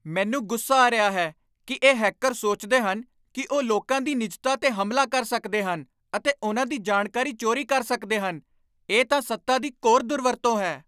ਮੈਨੂੰ ਗੁੱਸਾ ਆ ਰਿਹਾ ਹੈ ਕਿ ਇਹ ਹੈਕਰ ਸੋਚਦੇ ਹਨ ਕਿ ਉਹ ਲੋਕਾਂ ਦੀ ਨਿੱਜਤਾ 'ਤੇ ਹਮਲਾ ਕਰ ਸਕਦੇ ਹਨ ਅਤੇ ਉਨ੍ਹਾਂ ਦੀ ਜਾਣਕਾਰੀ ਚੋਰੀ ਕਰ ਸਕਦੇ ਹਨ। ਇਹ ਤਾਂ ਸੱਤਾ ਦੀ ਘੋਰ ਦੁਰਵਰਤੋਂ ਹੈ।